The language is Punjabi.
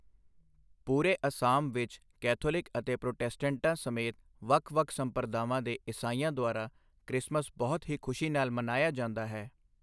ਪੂਰੇ ਅਸਾਮ ਵਿੱਚ ਕੈਥੋਲਿਕ ਅਤੇ ਪ੍ਰੋਟੈਸਟੈਂਟਾਂ ਸਮੇਤ ਵੱਖ ਵੱਖ ਸੰਪਰਦਾਵਾਂ ਦੇ ਈਸਾਈਆਂ ਦੁਆਰਾ ਕ੍ਰਿਸਮਸ ਬਹੁਤ ਹੀ ਖੁਸ਼ੀ ਨਾਲ ਮਨਾਇਆ ਜਾਂਦਾ ਹੈ।